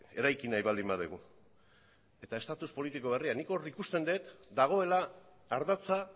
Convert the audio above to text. eraiki nahi baldin badugu eta estatus politiko berria nik hor ikusten dut dagoela ardatza